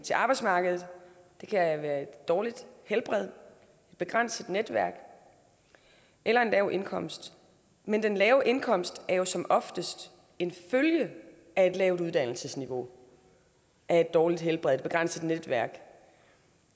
til arbejdsmarkedet det kan være et dårligt helbred begrænset netværk eller en lav indkomst men den lave indkomst er jo som oftest en følge af et lavt uddannelsesniveau af et dårligt helbred et begrænset netværk